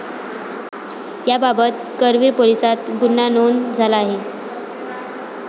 याबाबत करवीर पोलिसात गुन्हा नोंद झाला आहे.